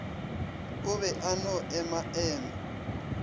o be a no emaema